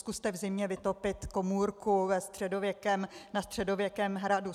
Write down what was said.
Zkuste v zimě vytopit komůrku na středověkém hradu.